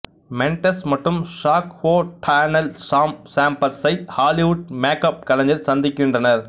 Mendes மற்றும் Jack O'Donnell Sam சேம்பர்ஸை Hollywood makeup கலைஞர் சந்திக்கின்றனர்